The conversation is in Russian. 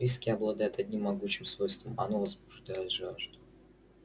виски обладает одним могучим свойством оно возбуждает жажду